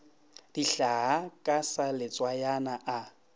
dihlaa ka sa letswayana a